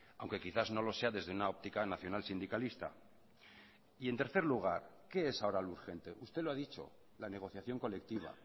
aunque quizás no lo sea desde una óptica nacional sindicalista y en tercer lugar qué es ahora lo urgente usted lo ha dicho la negociación colectiva